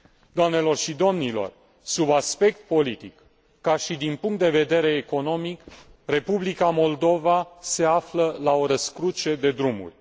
Doamnelor și domnilor, sub aspect politic, ca și din punct de vedere economic, Republica Moldova se află la o răscruce de drumuri.